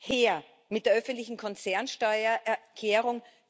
Her mit der öffentlichen Konzernsteuererklärung!